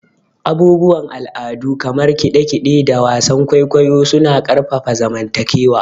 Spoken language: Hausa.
Abubuwan al'adu kamar kide-kide da wasan kwaikwayo suna ƙarfafa zamantakewa.